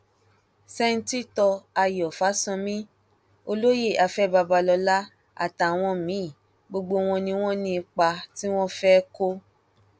sẹńtítọ ayọ fásánmi olóyè afẹ babalọla àtàwọn míín gbogbo wọn ni wọn ní ipa tí wọn fẹẹ kó